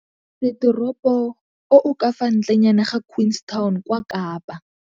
Setoropo o o ka fa ntlenyana ga Queenstown kwa Kapa.